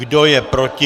Kdo je proti?